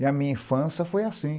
E a minha infância foi assim.